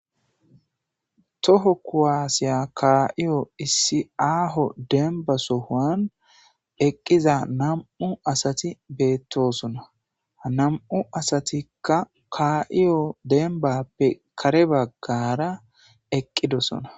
toho kuwaasiya kaaiyo issi aaho demba sohoan eqqiza nam7u asati beettosona nam7u asatikka kaa7iyo denbappe kare baggara eqqidosona